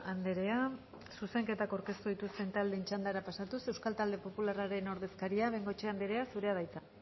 andrea zuzenketak aurkeztu dituzten taldeen txandara pasatuz euskal talde popularraren ordezkaria bengoechea andrea zurea da hitza